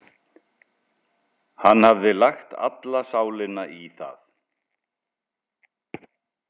Hann hafði lagt alla sálina í það.